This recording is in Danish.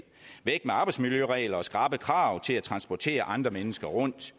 væk med arbejdsmiljøregler og skrappe krav til at transportere andre mennesker rundt